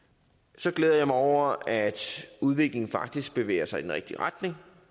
så glæder jeg mig over at udviklingen faktisk bevæger sig i den rigtige retning